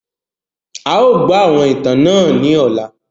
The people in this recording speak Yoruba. À ó gbọ́ àwọn ìtàn náà ni ọ̀la.